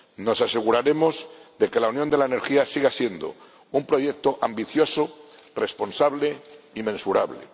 Nos aseguraremos de que la Unión de la Energía siga siendo un proyecto ambicioso, responsable y mensurable.